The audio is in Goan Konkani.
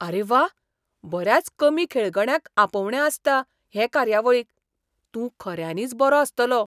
आरे वा! बऱ्याच कमी खेळगड्यांक आपोवणें आसता हे कार्यावळीक. तूं खऱ्यांनीच बरो आसतलो!